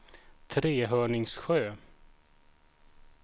Trehörningsjö